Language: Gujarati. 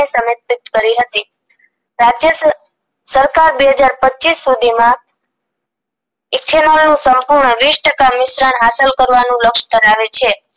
સમર્પિત કરી હતી રાજ્ય સ સરકાર બે હજાર પચીસ સુધીમાં ethanol નું સંપૂર્ણ વીસ ટકા મિશ્રણ હાંસલ કરવાનું લક્ષ ધરાવે છે